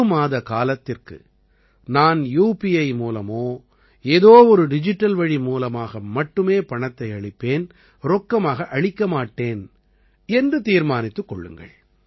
ஒரு மாதக்காலத்திற்கு நான் யுபிஐ மூலமோ ஏதோ ஒரு டிஜிட்டல் வழி மூலமாக மட்டுமே பணத்தை அளிப்பேன் ரொக்கமாக அளிக்க மாட்டேன் என்று தீர்மானித்துக் கொள்ளுங்கள்